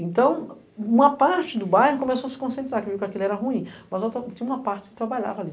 Então, uma parte do bairro começou a se conscientizar que aquilo era ruim, mas outra tinha uma parte que trabalhava ali.